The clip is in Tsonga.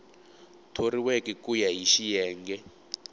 thoriweke ku ya hi xiyenge